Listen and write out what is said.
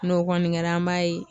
N'o kɔni kɛra an b'a ye